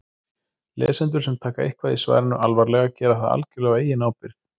Lesendur sem taka eitthvað í svarinu alvarlega gera það algjörlega á eigin ábyrgð.